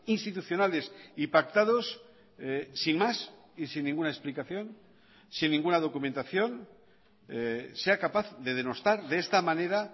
institucionales y pactados sin más y sin ninguna explicación sin ninguna documentación sea capaz de denostar de esta manera